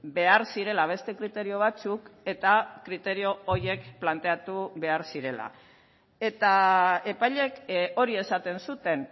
behar zirela beste kriterio batzuk eta kriterio horiek planteatu behar zirela eta epaileek hori esaten zuten